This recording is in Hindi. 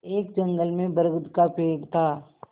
एक जंगल में बरगद का पेड़ था